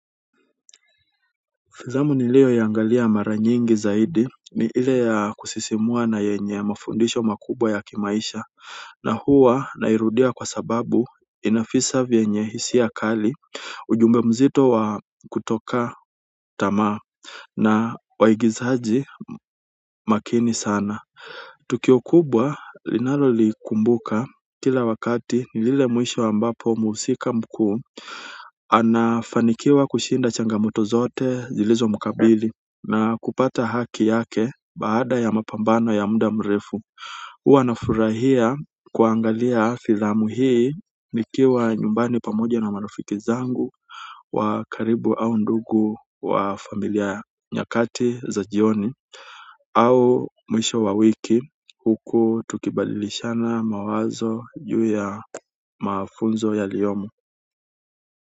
Filamu niliyo angalia mara nyingi zaidi ni ile ya kusisimua na yenye mafundisho makubwa ya kimaisha na huwa nairudia kwa sababu inavisa vyenye hisia kali, ujumbe mzito wa kutokata tamaa na ina waigizaji makini sana tukio kubwa ninalolikumbuka kila wakati ni pale mwisho ambapo mhusika mkuu anafanikiwa kushinda changamoto zote zilizomkabili na kupata haki yake baada ya mapambano ya muda mrefu huwa nafurahia kuangalia filamu hii nikiwa nyumbani pamoja na marafiki zangu wa karibu au ndugu wa familia nyakati za jioni au mwisho wa wiki huku tukibadilishana mawazo juu ya mafunzo yaliyomo.